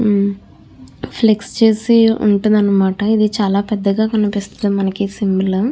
ఉమ్ flex చేసి వుంటది అనమాట చాల పెద్దగా కనిపిస్తుంది మనకి ఈ సింబల్ .